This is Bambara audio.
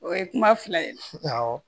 O ye kuma fila ye awɔ